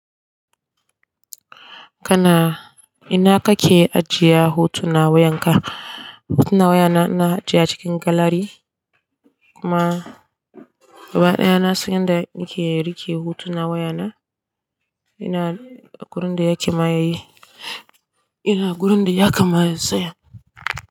Kana ina kake ajiye hotunan wayanka? Hotunan wayana ina ajiye cikin galari kuma gaba ɗaya na sanya inda nake rike hotunan wayana. Ina a wurin da yake maye, ina wurin da yaka ma ya saya.